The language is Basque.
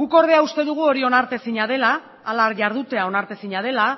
guk ordea uste dugu hori onartezina dela hala jardutea onartezina dela